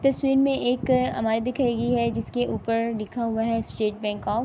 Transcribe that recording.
تشویر مے ایک امے دکھائی گی ہے۔ جسکے اپر لکھا ہوا ہے۔ State Bank of --